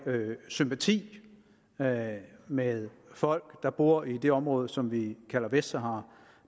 sympati med med folk der bor i det område som vi kalder vestsahara